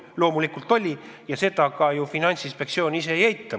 Loomulikult on ja seda Finantsinspektsioon ka ei eita.